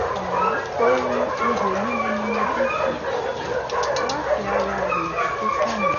ohùn ihò lílu ni mo jí sí láti ara ilẹ̀kùn tó kàn mí